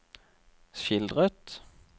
skildret